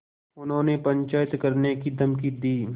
उन्होंने पंचायत करने की धमकी दी